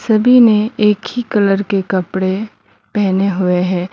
सभी ने एक ही कलर के कपड़े पहने हुए हैं।